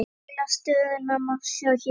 Heildar stöðuna má sjá hérna.